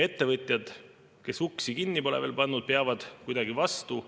Ettevõtjad, kes uksi kinni pole veel pannud, peavad kuidagi vastu.